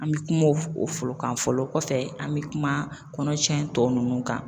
An bɛ kuma o fɔlɔ kan fɔlɔ kɔfɛ an bɛ kuma kɔnɔtiɲɛ tɔ ninnu kan